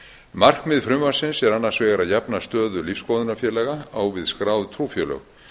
markmið frumvarpsins er annars vegar að jafna stöðu lífsskoðunarfélaga á við skráð trúfélög